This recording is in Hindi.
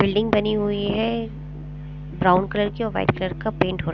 बिल्डिंग बनी हुई हैं ब्राउन कलर की और वाइट कलर का पेंट हो र --